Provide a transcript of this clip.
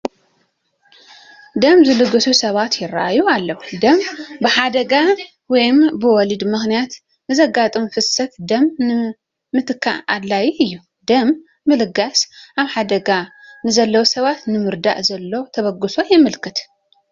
ደም ዝልግሱ ሰባት ይርአዩ ኣለዉ፡፡ ደም ብሓደጋ ወይ ብወሊድ ምኽንያት ንዘጋጥም ፍሰት ደም ንምትካእ ኣድላዪ እዩ፡፡ ደም ምልጋስ ኣብ ሓደጋ ንዘለዉ ሰባት ንምርዳእ ዘሎ ተበግሶ የመላኽት፡፡